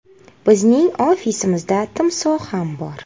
Bizning ofisimizda timsoh ham bor!